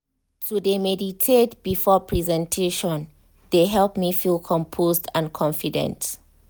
to de meditate before presentation de help me feel composed and confident.